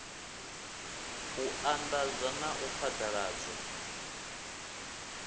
u anḓadza na u phaḓaladzwa